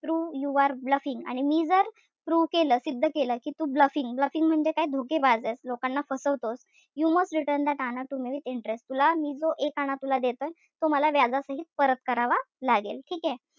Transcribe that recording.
Prove yo are bluffing आणि मी जर prove केलं, सिद्ध केलं कि तू bluffing bluffing म्हणजे काय? धोकेबाज एस. लोकांना फसवतो. You must return that anna to me with interest तुला मी जो एक आणा तुला देतोय तो मला व्याजासहित परत करावा लागेल. ठीकेय?